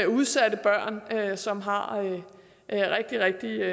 udsatte børn som har rigtig rigtig